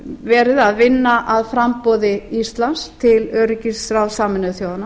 verið að vinna að framboði íslands til öryggisráðs sameinuðu þjóðanna